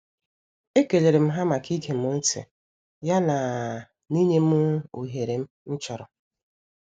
E kelerem ha maka igem ntị ya na na inyem oghere m chọrọ.